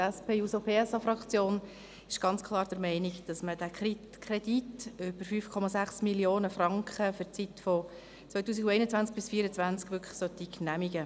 Denn die SP-JUSO-PSA-Fraktion ist ganz klar der Meinung, der Kredit über 5,6 Mio. Franken für die Jahre 2021–2024 solle genehmigt werden.